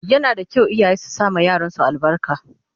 Yana da kyau iyaye su sama yaran su albarka